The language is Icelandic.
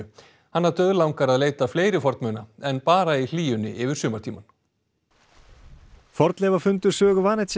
hana dauðlangar að leita fleiri en bara í hlýjunni yfir sumartímann fornleifafundur Sögu